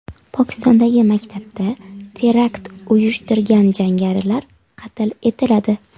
Pokistondagi maktabda terakt uyushtirgan jangarilar qatl etiladi.